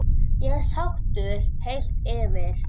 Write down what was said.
Ég er sáttur heilt yfir.